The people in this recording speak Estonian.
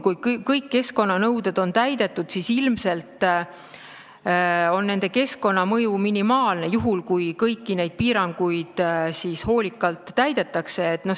Kui kõik keskkonnanõuded on täidetud, siis on nende keskkonnamõju ilmselt minimaalne, seda juhul, kui kõiki neid piiranguid hoolikalt täidetakse.